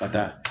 Ka taa